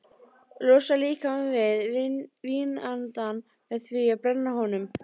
Losar líkamann við vínandann með því að brenna honum.